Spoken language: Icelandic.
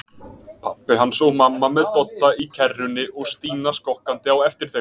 Pabbi hans og mamma með Dodda í kerrunni og Stína skokkandi á eftir þeim.